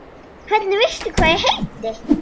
Hvernig veistu hvað ég heiti?